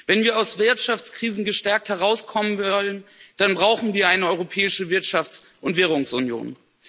Wenn wir aus Wirtschaftskrisen gestärkt herauskommen wollen, dann brauchen wir eine europäische Wirtschafts und Währungsunion.